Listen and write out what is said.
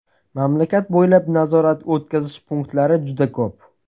Mamlakat bo‘ylab nazorat-o‘tkazish punktlari juda ko‘p.